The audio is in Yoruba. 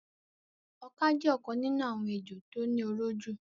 Ọka jẹ́ ọ̀kan nínú àwọn ejò tó ní oró jù.